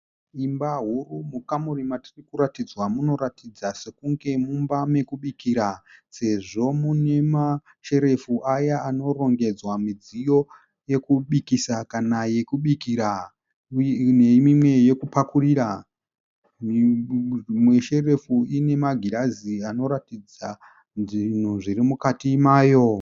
Imba huru. Mukamuri matiri kuratidzwa munoratidza sokunge mumba mokubikira sezvo mune masherefu aya anorongedzwa midziyo yokubikisa kana yokubikira nemimwe yokupakurira. Imwe sherefu ine magirazi anoratidza zvinhu zviri mukati mayo.